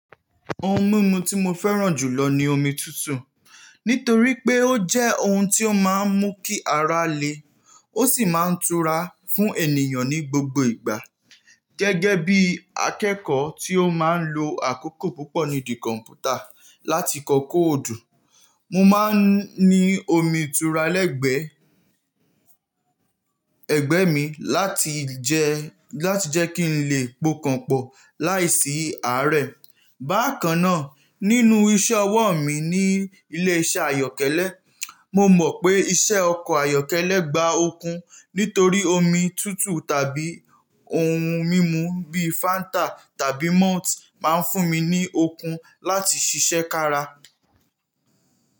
Ohun mímu tí mo fẹ́ràn jùlọ ni omi tútù. Nítorí pé ó jẹ́ ohun tí ó máa ń mú kí ara le, ó sì máa ń tura fún ènìyàn ní gbogbo ìgbà. Gẹ́gẹ́ bí akẹ́kọ̀ọ́ tí ó máa ń lo àkókò púpọ̀ nídi kọ̀mpútà láti kọ kóòdù, mo máa ń ní omi ìtura lẹ́gbẹ̀ẹ́, ẹgbẹ́ mi láti jẹ, láti jẹ́ kí n lè pokan pọ̀ láìsí àárẹ̀. Bákan náà, nínú iṣẹ́ ọwọ́ mi ní ilé iṣẹ́ àyọ́kẹ́lẹ́, mo mọ̀ pé iṣẹ́ ọkọ̀ àyọ́kẹ́lẹ́ gba okun. Nítorí omi tútù tàbí ohun mímu bí Fanta tàbí Malt máa ń fún mi ní okun láti ṣiṣẹ́ kára.